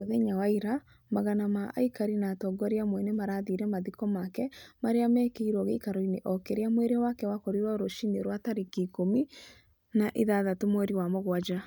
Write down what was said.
Mũthenya wa ira, magana ma aikari na atongoria amwe nĩ maathire mathiko make, arĩa meekĩirũo gĩikaro-inĩ o kĩrĩa mwĩrĩ wake wakorirwo rũciinĩ rwa tarĩki ĩkũmi na ithathatũ, mweri wa mũgwanja.